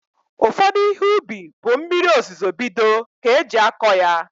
Ụfọdụ Ihe ubi bụ mmiri ozuzo bido ka eji akọ ya